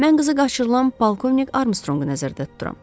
Mən qızı qaçırılan polkovnik Armstronqu nəzərdə tuturam.